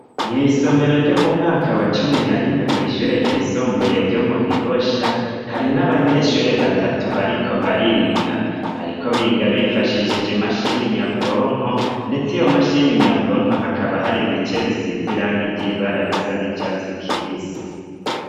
Mw'isomero ryo mu mwaka wa cumi na rimwe kw'ishure ryisumbuye ryo mu Gihosha harimwo abanyeshure batatu bariko bariga, bariko biga bifashishije imashini nyabwonko ndetse iyo mashini nyabwonko hakaba hari ibice bisize irangi ry'ibara risa n'icatsi kibisi.